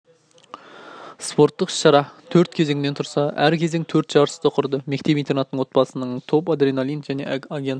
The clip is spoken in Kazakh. спорттық іс-шара төрт кезеңнен тұрса әр кезең төрт жарысты құрды мектеп-интернаттың отбасынан топ адреналин және агент